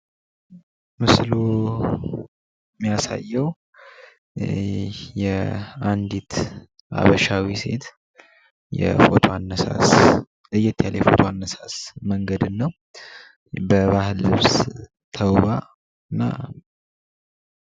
ምስሉ የሚያሳየው በሃበሻ ልብስ የተዋበች ሃበሻዊ ሴት ለየት ያለ የፎቶ አነሳስ ዘዴን ነው።